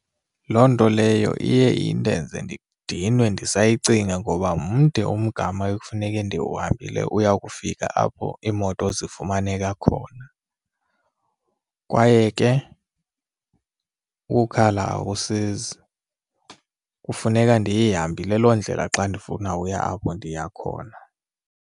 Loo nto leyo iye indenze ndidinwe ndisayicinga ngoba mde umgama ekufuneke ndiwuhambile uya kufika apho iimoto zifumaneka khona kwaye ke ukukhala akusizi, kufuneka ndiyihambile loo ndlela xa ndifuna uya apho ndiya khona.